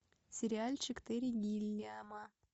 сериальчик терри гиллиама